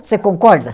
Você concorda?